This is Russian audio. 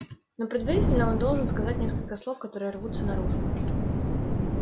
но предварительно он должен сказать несколько слов которые рвутся наружу